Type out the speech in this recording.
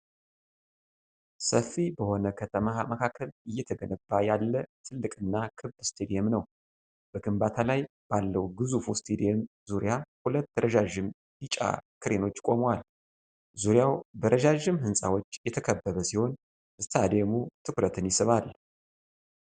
ሰፊ በሆነ ከተማ መካከል እየተገነባ ያለ ትልቅና ክብ ስታዲየም ነው። በግንባታ ላይ ባለው ግዙፉ ስታዲየም ዙሪያ ሁለት ረዣዥም ቢጫ ክሬኖች ቆመዋል። ዙሪያው በረጃጅም ህንጻዎች የተከበበ ሲሆን፣ ስታዲየሙ ትኩረትን ይስባል።